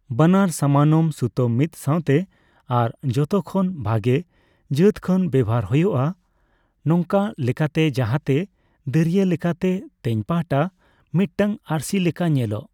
ᱵᱟᱱᱟᱨ ᱥᱟᱢᱟᱱᱚᱢ ᱥᱩᱛᱟᱹᱢ ᱢᱤᱫ ᱥᱟᱣᱛᱮ ᱟᱨ ᱡᱷᱚᱛᱚᱠᱷᱚᱱ ᱵᱷᱟᱜᱮ ᱡᱟᱹᱛ ᱠᱷᱚᱱ ᱵᱮᱣᱦᱟᱨ ᱦᱳᱭᱳᱜᱼᱟ, ᱱᱚᱝᱠᱟ ᱞᱮᱠᱟᱛᱮ ᱡᱟᱦᱟᱸᱛᱮ ᱫᱟᱹᱨᱭᱟᱹ ᱞᱮᱠᱟᱛᱮ ᱛᱮᱧ ᱯᱟᱦᱴᱟ ᱢᱤᱫᱴᱟᱝ ᱟᱹᱨᱥᱤ ᱞᱮᱠᱟ ᱧᱮᱞᱚᱜ ᱾